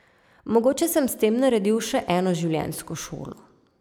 Mogoče sem s tem naredil še eno življenjsko šolo.